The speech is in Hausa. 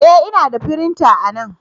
E! Ina da firinta anan.